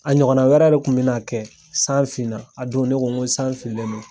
A ɲɔgɔnna wɛrɛ de Kun be na kɛ. San fin na a don ne ko ko san finnen don